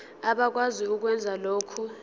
abakwazi ukwenza lokhu